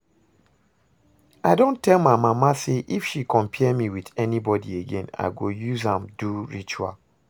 I don tell my mama say if she compare me with anybody again I go use am do ritual